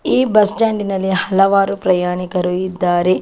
ಈ ಬಸ್ಸ್ಟ್ಯಾಂಡ್ ನಲ್ಲಿ ಹಲವಾರು ಪ್ರಯಾಣಿಕರು ಇದ್ದಾರೆ.